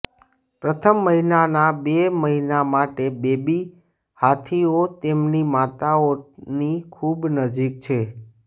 પ્રથમ મહિનાના બે મહિના માટે બેબી હાથીઓ તેમની માતાઓની ખૂબ નજીક છે